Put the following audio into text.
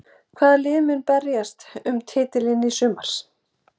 Hvaða lið munu berjast um titilinn í sumar?